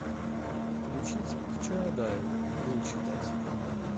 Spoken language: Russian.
включить к чаадаеву лень читать